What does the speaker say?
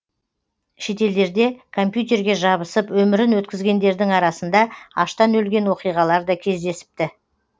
шетелдерде компьютерге жабысып өмірін өткізгендердің арасында аштан өлген оқиғалар да кездесіпті